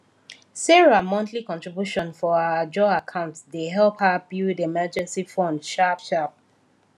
sarah monthly contribution for her ajo account de help her build emergency fund sharpsharp